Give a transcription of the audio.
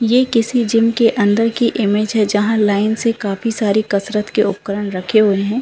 ये किसी जिम की अंदर की इमेज है जहाँ लाइन से काफी सारे कसरत के उपकरण रखें हैं।